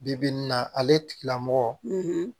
Bi bi in na ale tigilamɔgɔ